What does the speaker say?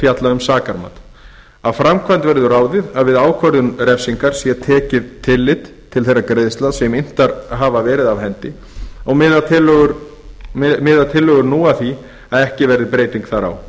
fjalla um sakarmat af framkvæmd verður ráðið að við ákvörðun refsingar sé tekið tillit til þeirra greiðslna sem inntar hafa verið af hendi og miða tillögur nú að því að ekki verði breyting þar á